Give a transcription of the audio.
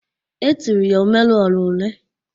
E tiri ya "Omeru ora one."